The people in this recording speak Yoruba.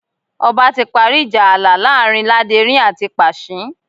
Ọba ti parí ìjà ààlà láàrin Láderin àti Pàṣín